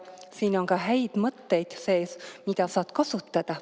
Siin on ka häid mõtteid sees, saad neid kasutada.